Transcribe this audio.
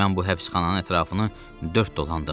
Mən bu həbsxananın ətrafını dörd dolandım.